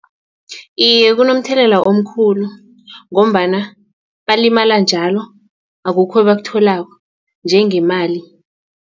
Iye, kunomthelela omkhulu ngombana balimala njalo akukho ebakutholako njengemali.